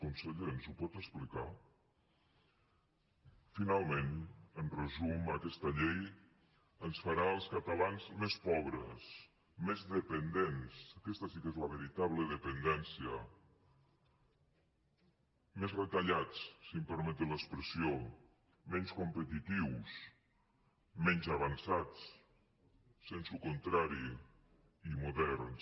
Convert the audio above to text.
conseller ens ho pot explicar finalment en resum aquesta llei ens farà als catalans més pobres més dependents aquesta sí que és la veritable dependència més retallats si em permeten l’expressió menys competitius menys avançats sensu contrario i moderns